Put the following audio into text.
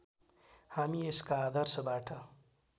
हामी यसका आदर्शबाट